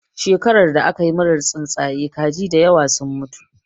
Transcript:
Shekarar da aka yi murar tsuntsaye, kaji da yawa sun mutu.